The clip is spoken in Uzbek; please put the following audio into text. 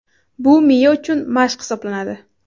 Bu miya uchun mashq hisoblanadi.